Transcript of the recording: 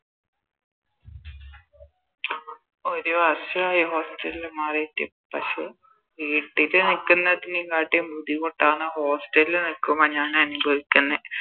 ഒരു വർഷായി Hostel ല് മാറിട്ട് പക്ഷെ വീട്ടില് നിക്ക്ന്നതിനെ കാട്ടിം ബുദ്ധിമുട്ടാണ് Hostel ല് നിക്കുമ്പോ ഞാനനുഭവിക്കുന്നെ